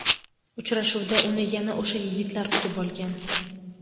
Uchrashuvda uni yana o‘sha yigitlar kutib olgan.